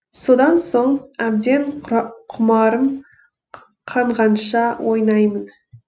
содан соң әбден құмарым қанғанша ойнаймын